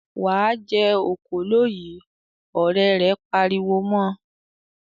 "Wà á jẹ òkòló yìí!" Ọ̀rẹ́ rẹ̀ pariwo mọ.